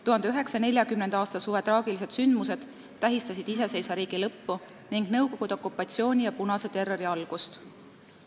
1940. aasta suve traagilised sündmused tähistasid iseseisva riigi lõppu ning nõukogude okupatsiooni ja punase terrori algust.